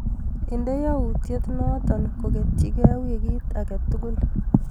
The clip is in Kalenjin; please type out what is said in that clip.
Inde yautyet noto koketyike wikit akatukul.